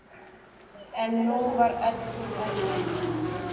En nú var öldin önnur.